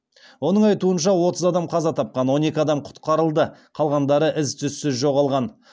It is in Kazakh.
оның айтуынша отыз адам қаза тапқан он екі адам құтқарылды қалғандары із түссіз жоғалған